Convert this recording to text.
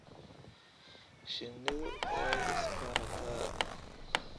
Shinnidu way is barataa.